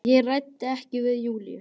Ég ræddi ekkert við Júlíu.